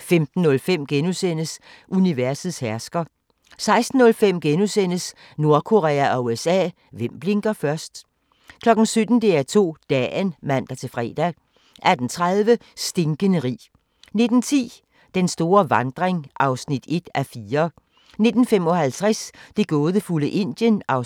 15:05: Universets hersker * 16:05: Nordkorea og USA – hvem blinker først? * 17:00: DR2 Dagen (man-fre) 18:30: Stinkende rig 19:10: Den store vandring (1:4) 19:55: Det gådefulde Indien (2:3)